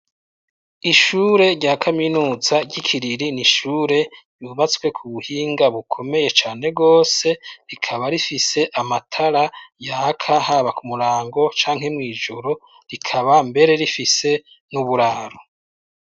Ishure rya kaminuza ry'iKiriri n'ishure yubatswe ku buhinga bukomeye cane gose rikaba rifise amatara yaka haba ku murango canke mw' ijoro rikaba mbere rifise n'uburaro.